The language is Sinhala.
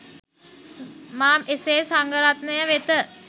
මා එසේ සංඝරත්නය වෙත